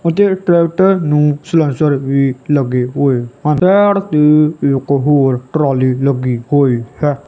ਅਤੇ ਟਰੈਕਟਰ ਨੂੰ ਸਲੈਂਸਰ ਵੀ ਲੱਗੇ ਹੋਏ ਹਨ ਸਾਈਡ ਤੇ ਇੱਕ ਹੋਰ ਟਰਾਲੀ ਲੱਗੀ ਹੋਈ ਹੈ।